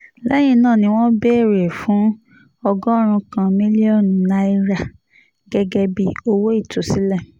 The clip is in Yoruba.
lẹ́yìn náà ni wọ́n béèrè fún ọgọ́rùn-ún kan mílíọ̀nù náírà gẹ́gẹ́ bíi owó ìtúsílẹ̀